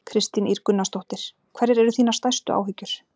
Kristín Ýr Gunnarsdóttir: Hverjar eru þínar stærstu áhyggjur?